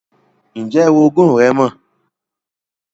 Ǹjẹ́ oroogún rẹ́ mọ̀?